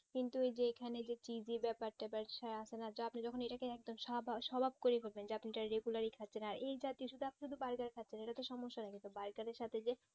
কিন্তু যেখানে দেখছি ব্যাপারটা ব্যাবসায় আসেনা টো আপনি যখন এটাকে একদম করে দেবেন খাচ্ছে না এইজাতীয় সুদু আপনি বাইরে খাচ্ছেন এটা তো সমস্যা নাই কিন্তু charger সাথে যে